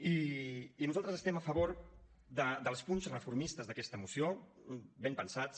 i nosaltres estem a favor dels punts reformistes d’aquesta moció ben pensats